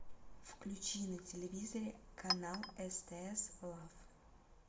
включи на телевизоре канал стс лав